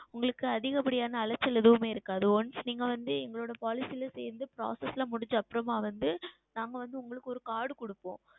உங்களுக்கு அதிகப்படியான அலைச்சல் எதுவுமே இருக்காது Once நீங்கள் வந்து எங்களுடைய Policy ல சேர்ந்து Process எல்லாம் முடிந்த அப்புறம் வந்து நாங்கள் வந்து உங்களுக்கு ஓர் Card கொடுப்போம்